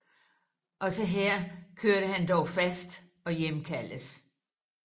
Også her kørte han dog fast og hjemkaldtes